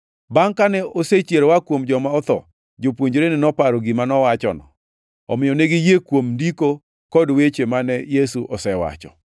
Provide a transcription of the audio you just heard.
Bangʼ kane osechier oa kuom joma otho, jopuonjrene noparo gima nowachono. Omiyo ne giyie kuom Ndiko kod weche mane Yesu osewacho.